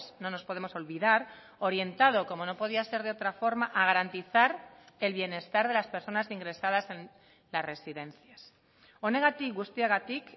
no nos podemos olvidar orientado como no podía ser de otra forma a garantizar el bienestar de las personas ingresadas en las residencias honegatik guztiagatik